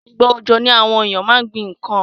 Ìgbà òjò ni àwon éyàn ma n gbín nkan